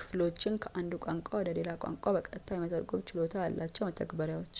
ክፍሎችን ከአንድ ቋንቋ ወደ ሌላ ቋንቋ በቀጥታ የመተርጎም ችሎታ ያላቸው መተግበሪያዎች